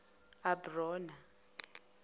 abrona